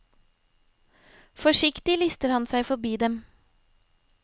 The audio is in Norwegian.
Forsiktig lister han seg forbi dem.